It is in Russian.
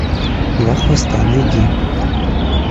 два хвоста найди